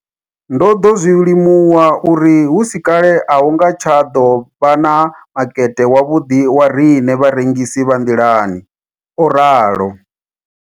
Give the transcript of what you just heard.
Ndo ḓo zwi limuwa uri hu si kale a hu nga tsha ḓo vha na makete wavhuḓi wa riṋe vharengisi vha nḓilani, o ralo.